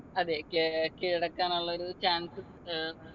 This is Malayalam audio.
അതെ കെ കീഴടക്കാൻ ഉള്ളൊരു chance ഏർ